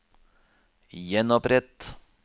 gjenopprett